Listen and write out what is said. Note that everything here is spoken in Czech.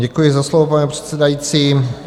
Děkuji za slovo, pane předsedající.